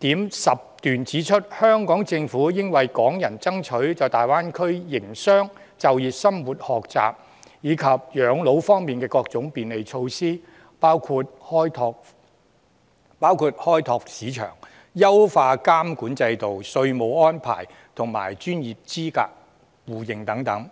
7.10 段指出，"香港政府應為港人爭取在大灣區內營商、就業、生活、學習以及養老方面的各種便利措施，包括開放市場、優化監管制度、稅務安排及專業資格互認等。